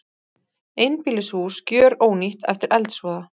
Einbýlishús gjörónýtt eftir eldsvoða